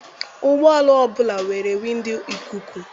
Ụgbọala ọbụla nwere windo ikuku.